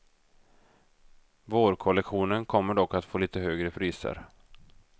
Vårkollektionen kommer dock att få lite högre priser.